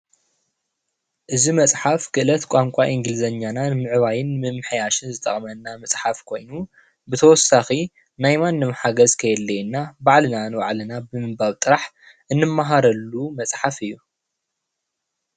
እዚ መጽሓፍ ክእለት ቋንቋ እንግሊዝኛና ንምዕባይን ንምምሕያሽን ዝጠቕመና መጽሓፍ ኮይኑ ብተወሳኺ ናይ ማንም ሓገዝ ከየድልየና ባዕልና ንባዕልና ብምንባብ ጥራሕ እንመሃረሉ መጽሓፍ እዩ።